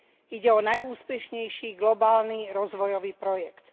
Ide o najúspešnejší globálny rozvojový projekt.